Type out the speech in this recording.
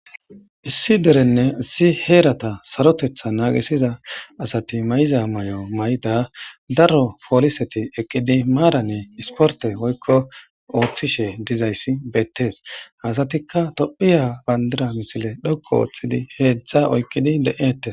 issi derenne si heerata sarotetha naagesiza asati may7iza may7o mayda daro pooliseti eqqidi maarane isporte woykko ooththishe dizayssi beettees haasatikka tophiya bandira misile dhokko ooththidi heedzdza oykqidi le7ete